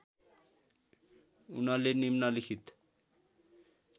उनले निम्नलिखित